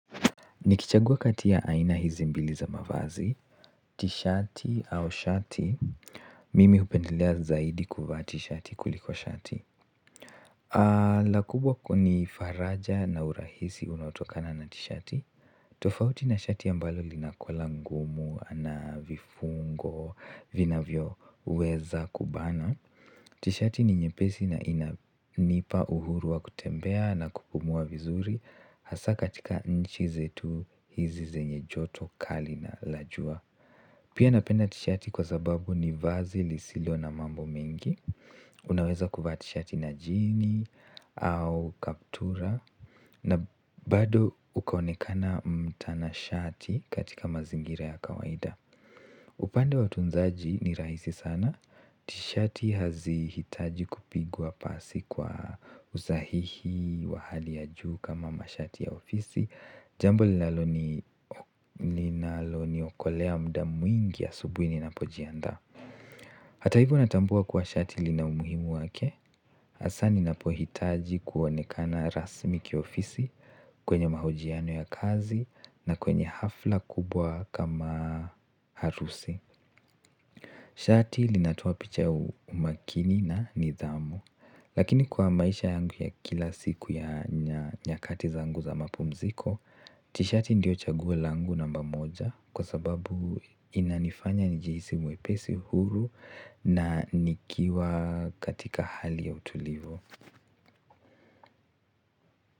Nikichagua kati ya aina hizi mbili za mavazi, tishati au shati, mimi upendelea zaidi kuvaa tishati kuliko shati. Lakubwa kuni faraja na urahisi unaotokana na tishati, tofauti na shati ambalo linakola ngumu na vifungo, vinavyoweza kubana. Tishati ni nyepesi na inanipa uhuru wa kutembea na kupumua vizuri hasa katika nchi zetu hizi zenye joto kali na la jua pia napenda tishati kwa sababu ni vazi lisilo na mambo mengi unaweza kuvaa tishati na jini au kaptura na bado ukaonekana mtana shati katika mazingira ya kawaida upande wa utunzaji ni rahisi sana tishati haziitaji kupigwa pasi kwa usahihi wa hali ya juu kama mashati ya ofisi jambo linalo niokolea muda mwingi ya asubuhi ninapojiandaa hata hivyo natambua kuwa shati lina umuhimu wake hasa ninapoitaji kuonekana rasmi kiofisi kwenye mahojiano ya kazi na kwenye hafla kubwa kama harusi shati linatoa picha ya umakini na nidhamu lakini kwa maisha yangu ya kila siku ya nyakati zangu za mapumziko tishati ndio chaguo langu namba moja kwa sababu inanifanya njihisi mwepesi huru na nikiwa katika hali ya utulivu.